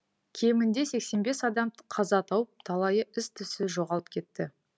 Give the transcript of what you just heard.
кемінде сексен бес адам қаза тауып талайы із түзсіз жоғалып кетті